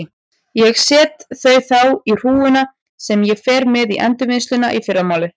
Ég set þau þá í hrúguna sem ég fer með í endurvinnsluna í fyrramálið.